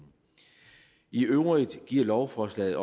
i øvrigt giver lovforslaget